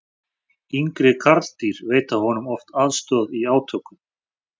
yngri karldýr veita honum oft aðstoð í átökum